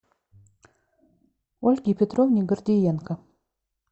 ольге петровне гордиенко